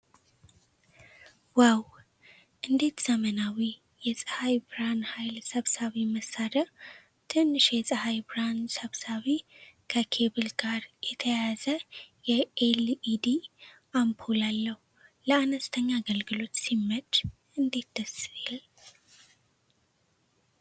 ዋው! እንዴት ዘመናዊ! የፀሐይ ብርሃን ኃይል ሰብሳቢ መሣሪያ ። ትንሽ የፀሐይ ብርሃን ሰብሳቢ ከኬብል ጋር የተያያዘ የኤልኢዲ አምፖል አለው። ለአነስተኛ አገልግሎት ሲመች እንዴት ደስ ይል!